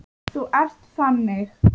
Þú ert þannig.